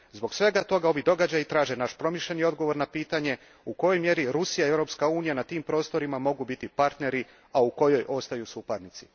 Zbog svega toga ovi događaji traže naš promišljeni odgovor na pitanje u kojoj mjeri Rusija i Europska unija na tim prostorima mogu biti partneri, a u kojoj ostaju suparnici.